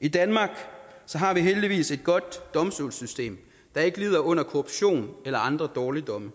i danmark har vi heldigvis et godt domstolssystem der ikke lider under korruption eller andre dårligdomme